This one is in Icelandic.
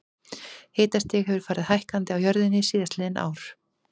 Hitastig hefur farið hækkandi á jörðinni síðastliðin ár.